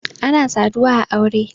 ana saduwa a aure